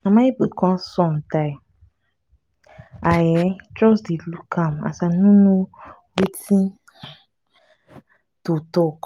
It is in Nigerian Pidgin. mama ebuka son die. i um just dey look am i no know wetin um to talk